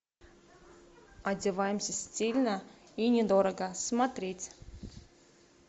одеваемся стильно и недорого смотреть